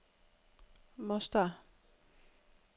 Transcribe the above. Mostar